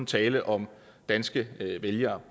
tale om danske vælgere